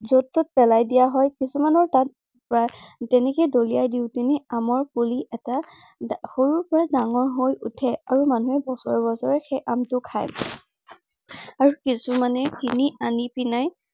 যত তাত পেলাই দিয়া হয়। কিছুমানৰ তাত আহ যেনেকে দলিয়াই দি কিনে আমৰ পুলি এটা সৰুৰ পৰা ডাঙৰ হৈ উঠে। আৰু মানুহে বছৰে বছৰে সেই আমটো খায়। আৰু কিছুমানে কিনি আনি পিনাই